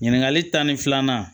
Ɲininkali tan ni filanan